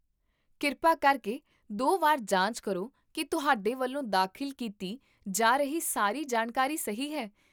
ਕਿਰਪਾ ਕਰਕੇ ਦੋ ਵਾਰ ਜਾਂਚ ਕਰੋ ਕਿ ਤੁਹਾਡੇ ਵੱਲੋਂ ਦਾਖਲ ਕੀਤੀ ਜਾ ਰਹੀ ਸਾਰੀ ਜਾਣਕਾਰੀ ਸਹੀ ਹੈ